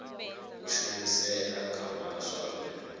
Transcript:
u shumisea nga vhaswa uri